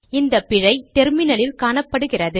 இந்த பிழை டெர்மினலில் காணப்படுகிறது